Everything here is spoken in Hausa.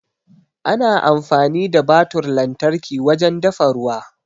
Ana amfani da butar lantarki wajen dafa ruwa.